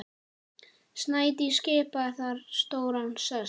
Snædís skipaði þar stóran sess.